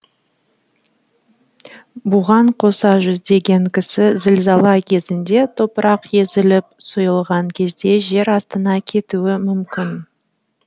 бұған қоса жүздеген кісі зілзала кезінде топырақ езіліп сұйылған кезде жер астына кетуі мүмкін